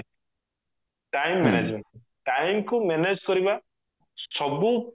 time management time କୁ manage କରିବା ସବୁ